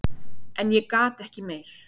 En ég gat ekki meir.